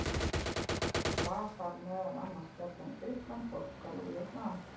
Var þar meðal annars fjallað um Grikkland, Portúgal og Víetnam.